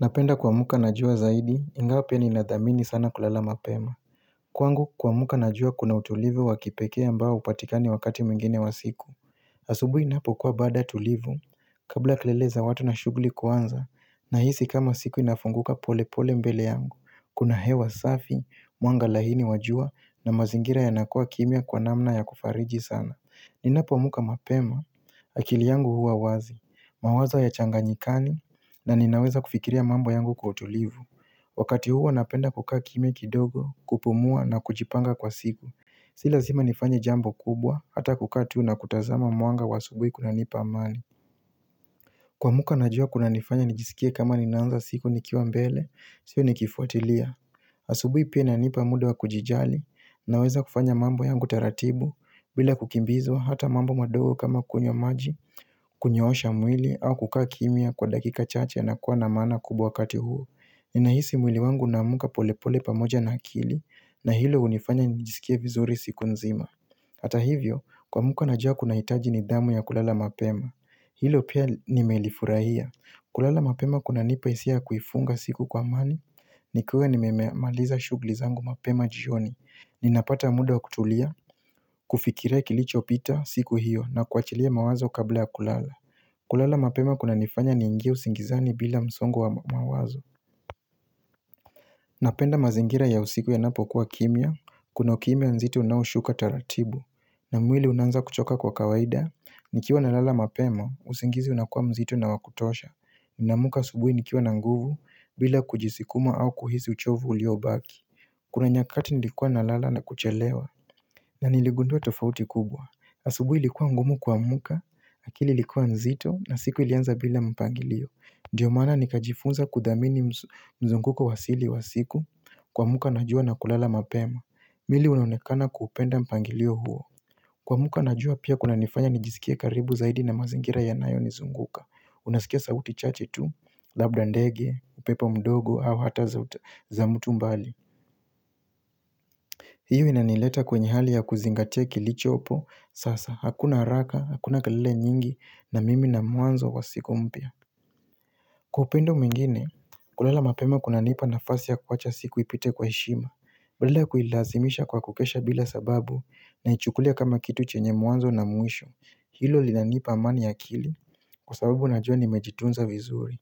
Napenda kuamuka na jua zaidi, ingawa pia ninathamini sana kulala mapema Kwangu kuamuka na jua kuna utulivu wakipekea mbao hupatikani wakati mwingine wa siku asubuhi inapokua baada tulivu, kabla kelele za watu na shuguli kuanza Nahisi kama siku inafunguka pole pole mbele yangu Kuna hewa safi, mwanga laini wa jua na mazingira yanakua kimia kwa namna ya kufariji sana Ninapo amuka mapema, akili yangu huwa wazi mawazo hayachanganyikani na ninaweza kufikiria mambo yangu kwa kutulivu Wakati huo napenda kukaa kimia kidogo kupumua na kujipanga kwa siku Si lazima nifanye jambo kubwa hata kukaa tu na kutazama mwanga wa asubuhi kuna nipa amani kuamuka na jua kuna nifanya nijisikie kama ninaanza siku nikiwa mbele, sio nikifuatilia asubuhi pia inipa muda wa kujijali naweza kufanya mambo yangu taratibu bila kukimbizwa hata mambo madogo kama kunywa maji, kunyosha mwili au kukaa kimia kwa dakika chache na kuwa na maana kubwa wakati huo. Ninahisi mwili wangu unamka pole pole pamoja na akili na hilo hunifanya nijisikie vizuri siku nzima. Hata hivyo, kuamka na jua kuna hitaji nithamu ya kulala mapema. Hilo pia nimelifurahia. Kulala mapema kuna nipa hisia ya kuifunga siku kwa amani, nikiwa nimemeamaliza shuguli zangu mapema jioni. Ninapata muda wa kutulia, kufikirai kilicho pita siku hiyo na kuachilia mawazo kabla ya kulala kulala mapema kuna nifanya niingie usingizani bila msongo wa mawazo Napenda mazingira ya usiku yanapo kuwa kimia, kuna ukimia nzitu unaushuka taratibu na mwili unanza kuchoka kwa kawaida, nikiwa na lala mapema, usingizi unakua mzito na wakutosha naamka subuhi nikiwa na nguvu, bila kujisikuma au kuhisi uchovu uliobaki Kuna nyakati nilikua na lala na kuchelewa na niligundua tofauti kubwa. Asubuhi likuwa ngumu kuamka, akili ilikuwa nzito na siku ilianza bila mpangilio. Ndiyo maana nikajifunza kuthamini mzunguko wasili wa siku kuamka na jua na kulala mapema. Mwili unaonekana kupenda mpangilio huo. Kuamka na jua pia kuna nifanya nijisikie karibu zaidi na mazingira yanayo nizunguka. Unasikia sauti chache tu, labda ndege, upepo mdogo au hata za mutu mbali. Hiyo inanileta kwenye hali ya kuzingatia kilichopo Sasa hakuna haraka, hakuna kelele nyingi na mimi na mwanzo wa siku mpya Kwaupendo mwingine, kulala mapema kuna nipa nafasi ya kuwacha siku ipite kwa heshima badala kuilazimisha kwa kukesha bila sababu naichukulia kama kitu chenye mwanzo na mwisho Hilo linanipa amani ya akili kwa sababu najua nimejitunza vizuri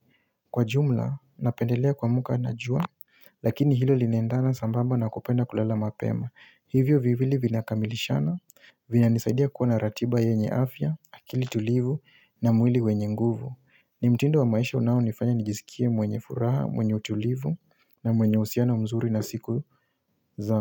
Kwa jumla, napendelea kuamka na jua, lakini hilo linaendana sambamba na kupenda kulala mapema Hivyo viwili vinakamilishana, vinanisaidia kuwa naratiba yenye afya, akili tulivu na mwili wenye nguvu. Ni mtindo wa maisha unao nifanya nijizikie mwenye furaha, mwenye utulivu na mwenye uhusiano mzuri na siku za.